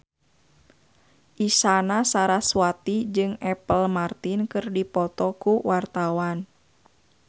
Isyana Sarasvati jeung Apple Martin keur dipoto ku wartawan